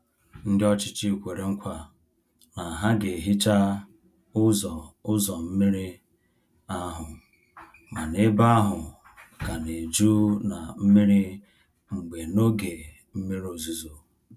Ndị ọchịchị kwere nkwa na ha ga hicha ụzọ ụzọ mmiri ahụ, mana ebe ahụ ka na-eju na mmiri mgbe n'oge mmiri ozuzo.